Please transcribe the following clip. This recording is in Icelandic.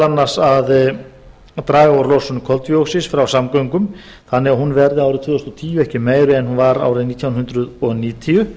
annars að draga úr losun koltvíoxíðs frá samgöngum þannig að hún verði árið tvö þúsund og tíu ekki meiri en hún var árið nítján hundruð níutíu